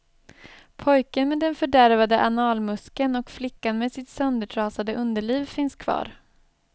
Pojken med den fördärvade analmuskeln och flickan med sitt söndertrasade underliv finns kvar.